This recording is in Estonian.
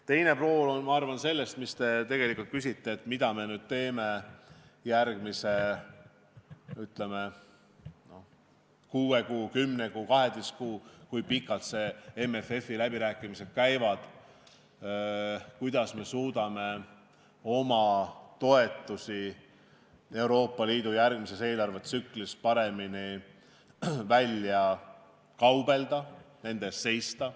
Teine pool, ma arvan, sellest, mis te küsisite, on see, mida me teeme järgmise kuue, kümne või kaheteistkümne kuu jooksul, olenevalt sellest, kui pikalt MFF-i läbirääkimised käivad, ja kuidas me suudame omale Euroopa Liidu järgmises eelarvetsüklis paremini toetusi välja kaubelda, nende eest seista.